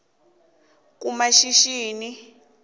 kumashishini